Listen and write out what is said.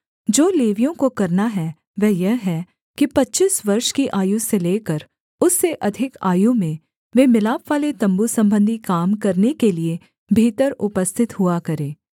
जो लेवियों को करना है वह यह है कि पच्चीस वर्ष की आयु से लेकर उससे अधिक आयु में वे मिलापवाले तम्बू सम्बंधी काम करने के लिये भीतर उपस्थित हुआ करें